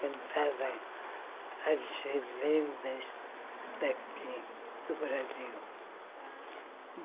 Cantava as lendas daqui do Brasil.